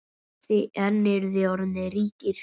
En eruð þið orðnir ríkir?